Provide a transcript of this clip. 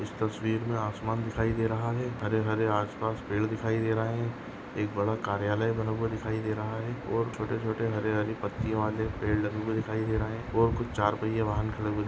इस तस्वीर मे आसमान दिखाई दे रहा है हरे हरे आसपास पेड दिखाई दे रहे है एक बड़ा कार्यालय बना हुआ दिखाई दे रहा है और छोटे छोटे हरी हरी पत्तियों वाले पेड लगे हुए दिखाई दे रहे है और कुछ चार पहिये वाहन खड़े दि --